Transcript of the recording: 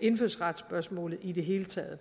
indfødsretsspørgsmålet i det hele taget